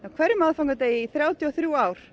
á hverjum aðfangadegi í þrjátíu og þrjú ár